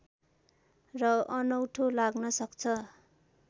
र अनौठो लाग्न सक्छ